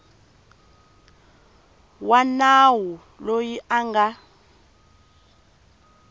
wa nawu loyi a nga